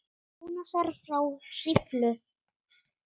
Jónasar frá Hriflu.